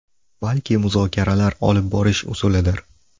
Balki muzokaralar olib borish usulidir.